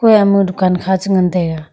eya ma dukan kha cha ngan taiga.